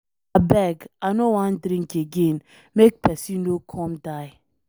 Abeg I no wan drink again, make person no come die.